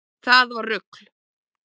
Það var rugl